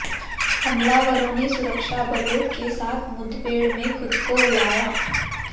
हमलावरों ने सुरक्षाबलों के साथ मुठभेड़ में खुद को उड़ाया